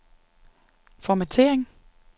formattering